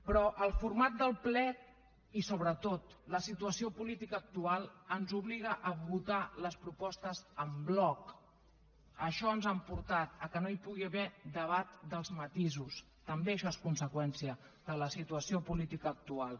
però el format del ple i sobretot la situació política actual ens obliga a votar les propostes en bloc a això ens han portat a que no hi pugui haver debat dels matisos també això és conseqüència de la situació política actual